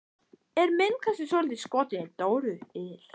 Er minn kannski svolítið skotinn í Dóru il?